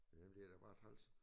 Ja men det er da bare træls